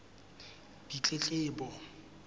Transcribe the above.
ditletlebo